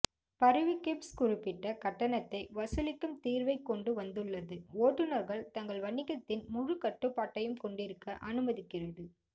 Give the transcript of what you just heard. பரிவு கேப்ஸ் குறிப்பிட்ட கட்டணத்தை வசூலிக்கும் தீர்வைக் கொண்டு வந்துள்ளது ஓட்டுநர்கள் தங்கள் வணிகத்தின் முழு கட்டுப்பாட்டையும் கொண்டிருக்க அனுமதிக்கிறது